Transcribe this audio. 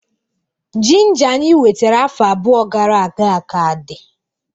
Ginger anyị wetara afọ abụọ gara aga ka dị